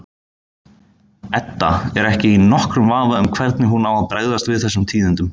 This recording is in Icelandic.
Edda er ekki í nokkrum vafa um hvernig hún á að bregðast við þessum tíðindum.